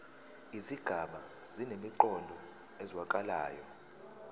izigaba zinemiqondo ezwakalayo